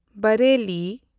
Bareilly